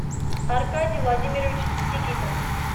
аркадий владимирович сигитов